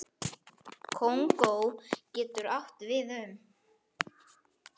Kongó getur átt við um